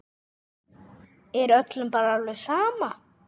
Er öllum bara alveg sama?